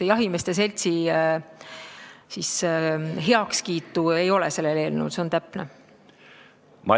Jahimeeste seltsi heakskiitu sellel eelnõul ei ole, nii on täpne öelda.